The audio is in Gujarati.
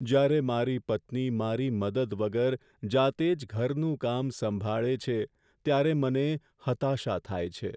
જ્યારે મારી પત્ની મારી મદદ વગર જાતે જ ઘરનું કામ સંભાળે છે ત્યારે મને હતાશા થાય છે.